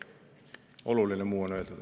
Muu oluline on öeldud.